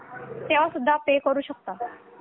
तेव्हा सुद्धा पे करू शकता